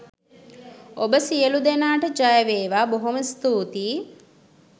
ඔබ සියලු දෙනාට ජයවේවා බොහොම ස්තුතියි .